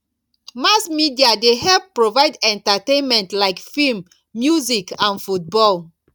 mass media dey help provide entertainment like film music and football